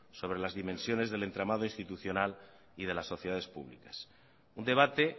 sobre las dimensiones del entramado institucional y de las sociedades públicas un debate